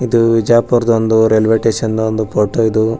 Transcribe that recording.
ಇದು ಬಿಜಾಪೂರ್ದ್ railway station photo ಇದು.